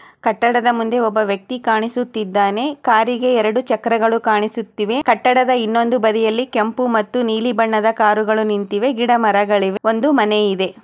ಕಟ್ಟಡದ ಮುಂದೆ ಒಬ್ಬ ವ್ಯಕ್ತಿ ಕಾಣಿಸುತಿದ್ದಾನೆ. ಕಾರಿಗೆ ಎರೆಡು ಚಕ್ರಗಳು ಕಾಣಿಸುತ್ತಿವೆ. ಕಟ್ಟಡದ ಇನ್ನೊಂದು ಬದಿಯಲಿ ಕೆಂಪು ಮತ್ತು ನೀಲಿ ಬಣ್ಣದ ಕಾರುಗಳು ನಿಂತಿವೆ. ಗಿಡ ಮರಗಳಿವೆ ಒಂದು ಮನೆ ಇದೆ